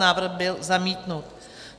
Návrh byl zamítnut.